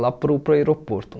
lá para o para o aeroporto.